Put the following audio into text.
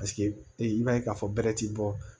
Paseke i b'a ye k'a fɔ bɛrɛ ti bɔ